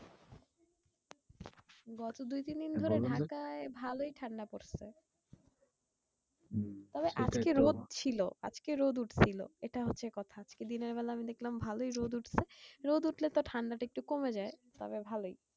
গত দুইতিন দিন ধরে ঢাকায় ভালোই ঠান্ডা পড়ছে। তবে আজকে রোদ ছিল আজকে রোদ উঠছিলো এটা হচ্ছে কথা। আজকে দিনের বেলা আমি দেখলাম ভালোই রোদ উঠছে। রোদ উঠলে তো ঠান্ডাটা একটু কমে যায় তবে ভালোই।